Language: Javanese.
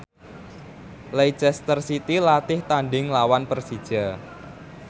Leicester City latih tandhing nglawan Persija